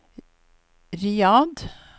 Riyadh